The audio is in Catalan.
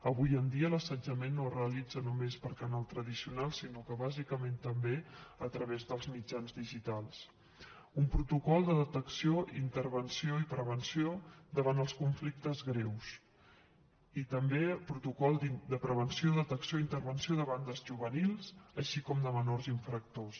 avui en dia l’assetjament no es realitza només per canals tradicionals sinó que bàsicament també a través dels mitjans digitals un protocol de detecció intervenció i prevenció davant els conflictes greus i també un protocol de prevenció detecció i intervenció de bandes juvenils així com de menors infractors